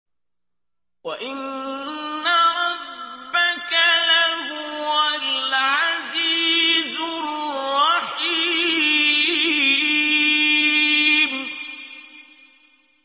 وَإِنَّ رَبَّكَ لَهُوَ الْعَزِيزُ الرَّحِيمُ